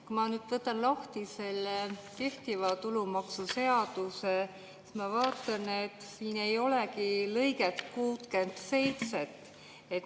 Kui ma võtan lahti kehtiva tulumaksuseaduse, siis ma vaatan, et siin ei olegi lõiget 67.